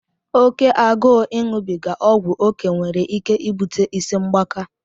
Oke agụụ iṅụbiga ọgwụ oké nwere ike ibute ịsị mgbaka.